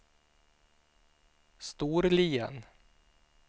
Storlien